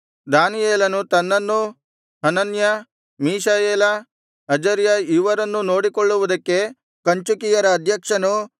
ದಾನಿಯೇಲನು ತನ್ನನ್ನೂ Hananiah Mishael Azariah ಇವರನ್ನೂ ನೋಡಿಕೊಳ್ಳುವುದಕ್ಕೆ ಕಂಚುಕಿಯರ ಅಧ್ಯಕ್ಷನು